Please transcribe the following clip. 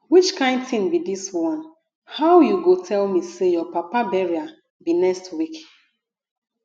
which kin thing be dis one how you go dey tell me say your papa burial be next week